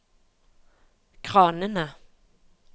kranene